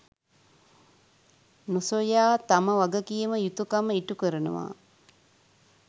නොසොයා තම වගකීම, යුතුකම ඉටුකරනවා.